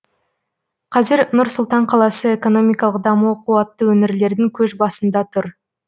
қазір нұр сұлтан қаласы экономикалық дамуы қуатты өңірлердің көш басында тұр